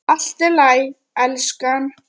Allt í lagi, elskan.